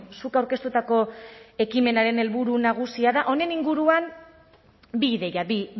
zuk aurkeztutako ekimenaren helburu nagusia da honen inguruan bi ideia bi